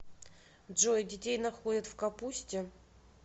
джой детей находят в капусте